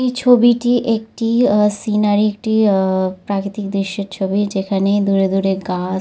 এই ছবিটি একটি আ সিনারি একটি আহ প্রাকৃতিক দৃশ্যের ছবি যেখানে দূরে দূরে গা--